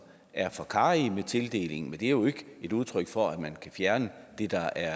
er for karrige med tildelingen men det er jo ikke et udtryk for at man kan fjerne det der